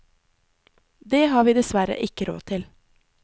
Det har vi dessverre ikke råd til.